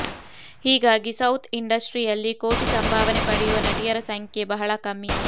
ಹೀಗಾಗಿ ಸೌತ್ ಇಂಡಸ್ಟ್ರಿಯಲ್ಲಿ ಕೋಟಿ ಸಂಭಾವನೆ ಪಡೆಯುವ ನಟಿಯರ ಸಂಖ್ಯೆ ಬಹಳ ಕಮ್ಮಿ